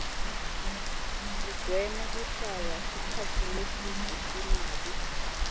sigweme kuhlala sikhatsi lesibze singabu